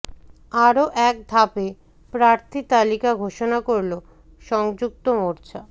আরও এক ধাপে প্রার্থী তালিকা ঘোষণা করল সংযুক্ত মোর্চা